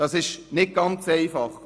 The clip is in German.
Dies ist nicht ganz einfach.